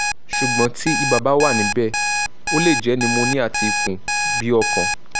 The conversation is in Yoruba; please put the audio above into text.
sugbon ti iba ba wanibe o le je pneumonia ti ikun bi okan